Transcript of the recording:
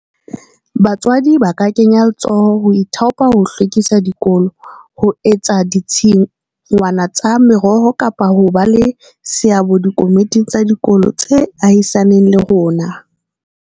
Batswadi ba ka kenya letsoho ho ithaopa ho hlwekisa dikolo, ho etsa ditshingwana tsa meroho kapa ho ba le seabo dikomiting tsa dikolo tse ahisaneng le rona.